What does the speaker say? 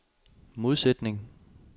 modsætning